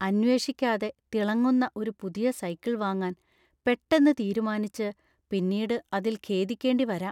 അന്വേഷിക്കാതെ തിളങ്ങുന്ന ഒരു പുതിയ സൈക്കിൾ വാങ്ങാൻ പെട്ടെന്ന് തീരുമാനിച്ച് പിന്നീട് അതിൽ ഖേദിക്കേണ്ടി വരാം.